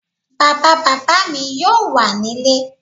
Bàbá bàbá mi yóò wà nílé